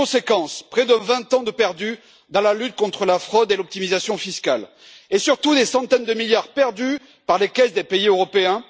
Conséquence près de vingt ans de perdus dans la lutte contre la fraude et l'optimisation fiscales, et surtout des centaines de milliards perdus par les caisses des pays européens.